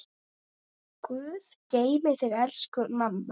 Guð geymi þig, elsku mamma.